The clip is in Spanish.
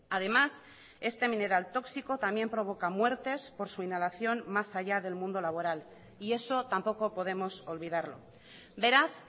además este mineral tóxico también provoca muertes por su inhalación más allá del mundo laboral y eso tampoco podemos olvidarlo beraz